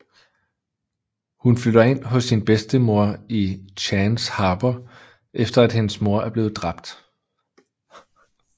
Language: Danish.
Hun flytter ind hos sin bedstemor i Chance Harbor efter at hendes mor er blevet drabt